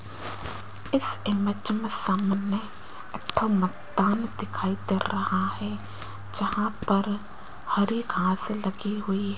इस इमेज में सामने इत्था मैदान दिखाई दे रहा है जहां पर हरी घास घास लगी हुई है।